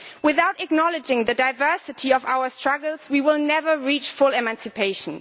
Without acknowledging the diversity of our struggles, we will never reach full emancipation.